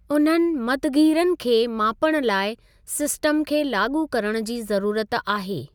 उन्हनि मतग़ीरन खे मापणु लाइ सिस्टम खे लाॻू करणु जी ज़रूरत आहे।